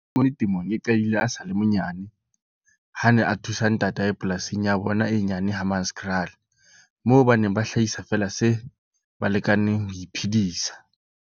Temong e qadile a sa le monyane ha a ne a thusa ntatae polasing ya bona e nyane Hammanskraal moo ba neng ba hlahisa feela se ba lekaneng ho iphedisa.